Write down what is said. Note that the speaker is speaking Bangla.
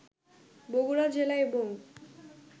বগুড়া জেলা এবং